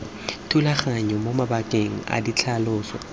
thulaganyong mo mabakeng a ditlhaloso